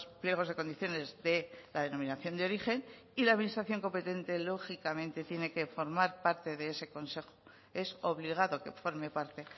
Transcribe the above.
pliegos de condiciones de la denominación de origen y la administración competente lógicamente tiene que formar parte de ese consejo es obligado que forme parte